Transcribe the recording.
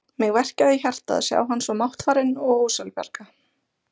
Mig verkjaði í hjartað að sjá hann svo máttfarinn og ósjálfbjarga.